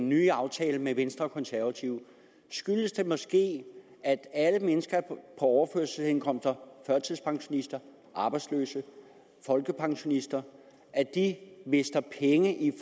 nye aftale med venstre og konservative skyldes det måske at alle mennesker på overførselsindkomst førtidspensionister arbejdsløse folkepensionister mister penge i